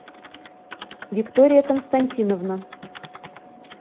виктория константиновна